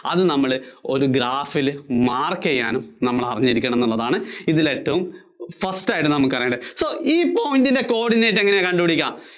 അത് നമ്മള് ഒരു Graph ല് mark ചെയ്യാൻ നമ്മൾ അറിഞ്ഞിരിക്കണം എന്നുള്ളതാണ് ഇതിൽ ഏറ്റവും first ആയിട്ട് നമ്മൾ അറിഞ്ഞിരിക്കേണ്ടത് so ഈ point ന്‍റെ coordinate എങ്ങനെ കണ്ടുപിടിക്കുക